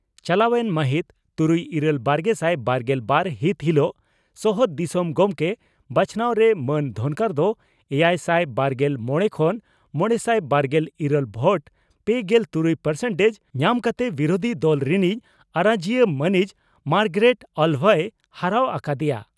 ᱪᱟᱞᱟᱣᱮᱱ ᱢᱟᱹᱦᱤᱛ ᱛᱩᱨᱩᱭ ᱤᱨᱟᱹᱞ ᱵᱟᱨᱜᱮᱥᱟᱭ ᱵᱟᱨᱜᱮᱞ ᱵᱟᱨ ᱦᱤᱛ ᱦᱤᱞᱚᱜ ᱥᱚᱦᱚᱫ ᱫᱤᱥᱚᱢ ᱜᱚᱢᱠᱮ ᱵᱟᱪᱷᱱᱟᱣ ᱨᱮ ᱢᱟᱹᱱ ᱫᱷᱚᱱᱠᱚᱨ ᱫᱚ ᱮᱭᱟᱭᱥᱟᱭ ᱵᱟᱨᱜᱮᱞ ᱢᱚᱲᱮ ᱠᱷᱚᱱ ᱢᱚᱲᱮᱥᱟᱭ ᱵᱟᱨᱜᱮᱞ ᱤᱨᱟᱹᱞ ᱵᱷᱳᱴ ᱯᱮᱜᱮᱞ ᱛᱩᱨᱩᱭ ᱯᱟᱨᱥᱮᱱᱴᱮᱡᱽ) ᱧᱟᱢ ᱠᱟᱛᱮ ᱵᱤᱨᱩᱫᱷᱤ ᱫᱚᱞ ᱨᱤᱱᱤᱡ ᱟᱨᱚᱡᱤᱭᱟᱹ ᱢᱟᱹᱱᱤᱡ ᱢᱟᱨᱜᱟᱨᱮᱴ ᱟᱞᱵᱷᱟᱭ ᱦᱟᱨᱟᱣ ᱟᱠᱟ ᱫᱮᱭᱟ ᱾